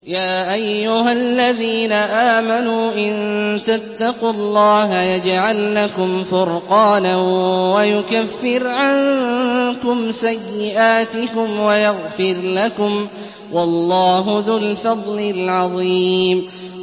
يَا أَيُّهَا الَّذِينَ آمَنُوا إِن تَتَّقُوا اللَّهَ يَجْعَل لَّكُمْ فُرْقَانًا وَيُكَفِّرْ عَنكُمْ سَيِّئَاتِكُمْ وَيَغْفِرْ لَكُمْ ۗ وَاللَّهُ ذُو الْفَضْلِ الْعَظِيمِ